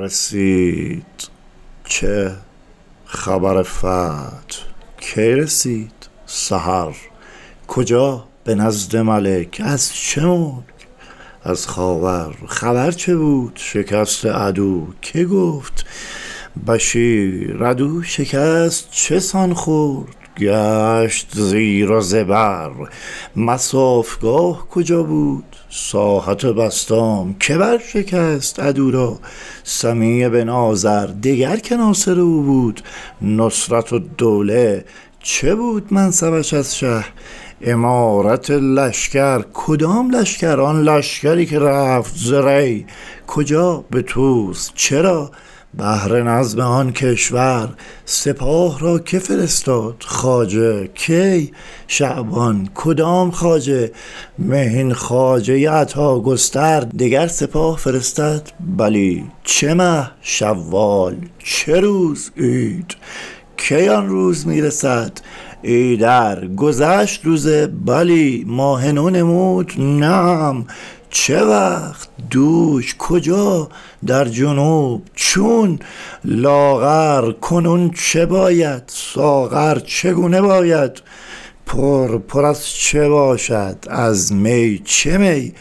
رسید چه خبر فتح کی رسید سحر کجا به نزد مالک از چه ملک از خاور خبر چه بود شکست عدو که گفت بشیر عدو شکست چسان خورده گشت زیر و زبر مصافگاه کجا بود ساحت بسطام که بر شکست عدو را سمی بن آزر دگر که ناصر او بود نصرت الدوله چه بود منصبش از شه امارت لشکر کدام لشکر آن لشکری که رفت زری کجا به طوس چرا بهر نظم آن کشور سپاه را که فرستاد خواجه کی شعبان کدام خواجه مهین خواجه عطاگستر دگر سپاه فرستد بلی چه مه شوال چه روز عید کی آن روز می رسد ایدر گذشت روزه بلی ماه نو نمود نعم چه وقت دوش کجا در جنوب چون لاغر کنون چه باید ساغر چگونه باید پر پر از چه باشد از می چه می